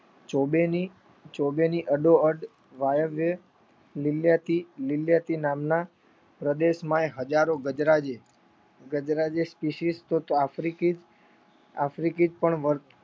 ચોબેને અડોઅડ વાયગે લીળીયાતી નામના પ્રદેશ માં હજારો ગજરાજ ઇસીસીટી આફ્રિકી પણ વર્ત